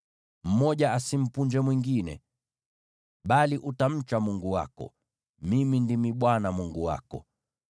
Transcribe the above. Mmoja asimpunje mwingine, bali utamcha Mungu wako. Mimi ndimi Bwana Mungu wako.